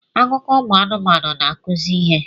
Akụkọ ụmụ anụmanụ na-akụzi ihe